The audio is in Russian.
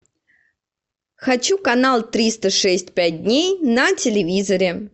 хочу канал триста шесть пять дней на телевизоре